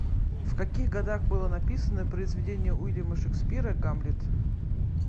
в каких годах было написано произведение уильяма шекспира гамлет